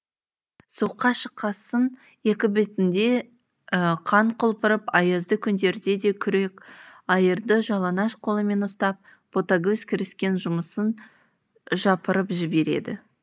суыққа шыққасын екі бетінде қан құлпырып аязды күндерде де күрек айырды жалаңаш қолымен ұстап ботагөз кіріскен жұмысын жапырып жібереді